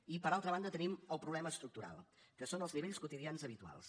i per altra banda tenim el problema estructural que són els nivells quotidians habituals